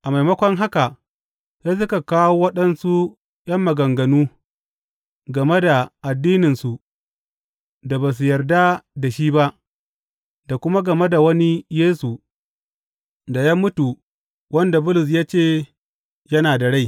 A maimako haka, sai suka kawo waɗansu ’yan maganganu game da addininsu da ba su yarda da shi ba da kuma game da wani Yesu da ya mutu wanda Bulus ya ce yana da rai.